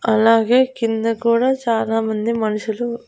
అలాగే కింద కూడా చాలామంది మనుషులు--